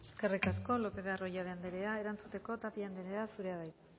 eskerrik asko lopez de arroyabe andrea erantzuteko tapia andrea zurea da hitza